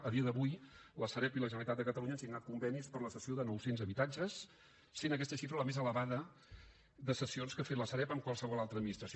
a dia d’avui la sareb i la generalitat de catalunya han signat convenis per a la cessió de nou cents habitatges i aquesta xifra és la més elevada de cessions que ha fet la sareb amb qualsevol altra administració